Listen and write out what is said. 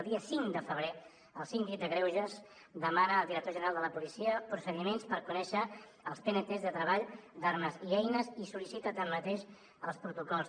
el dia cinc de febrer el síndic de greuges demana al director general de la policia procediments per conèixer els pnts de treball d’armes i eines i sol·licita tanmateix els protocols